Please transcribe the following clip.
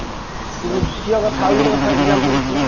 ପୁଣି ଦ୍ୱିତୀୟ କଥା ଆଉ ଗୋଟେ କଥା example ଶୁଣ